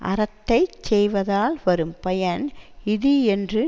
அறத்தை செய்வதால் வரும் பயன் இது என்று